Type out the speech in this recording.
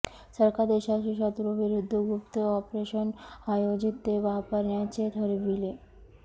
सरकार देशातील शत्रू विरुद्ध गुप्त ऑपरेशन आयोजित ते वापरण्याचे ठरविले